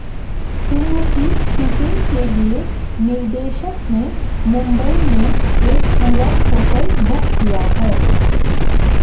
film की shooting के लिए निर्देशक ने मुंबई में एक पूरा होटल बुक किया है